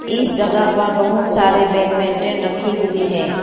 इस जगह पर बहुत सारे बैडमिंटन रखी हुई है।